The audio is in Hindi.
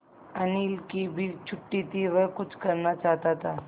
अनिल की भी छुट्टी थी वह कुछ करना चाहता था